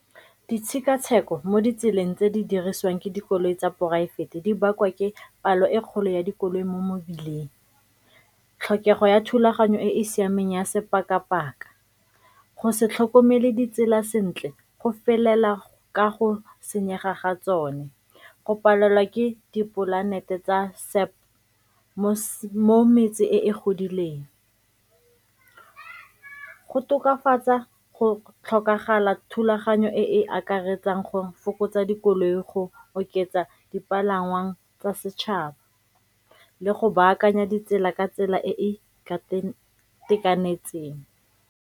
Ditshekatsheko mo ditseleng tse di dirisiwang ke dikoloi tsa poraefete di bakwa ke palo e kgolo ya dikoloi mo mebileng, tlhokego ya thulaganyo e e siameng ya sebaka-baka, go se tlhokomele ditsela sentle go felela ka go senyega ga tsone. Go palelwa ke dipolanete tsa , mo metse e e godileng go tokafatsa go tlhokagala thulaganyo e e akaretsang gore fokotsa dikoloi go oketsa dipalangwa tsa setšhaba le go baakanya ditsela ka tsela e e itekanetseng.